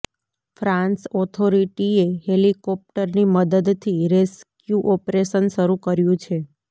France ઓથોરિટીએ હેલિકોપ્ટરની મદદથી રેસ્ક્યૂ ઓપરેશન શરૂ કર્યુ છે